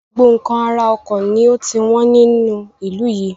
Gbogbo nkan ara ọkọ̀ ni ó ti wọn ní ìlú yìí.